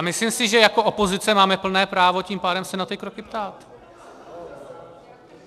A myslím si, že jako opozice máme plné právo tím pádem se na ty kroky ptát.